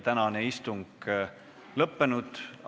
Tänane istung on lõppenud.